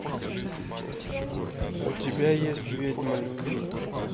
у тебя есть ведьма любви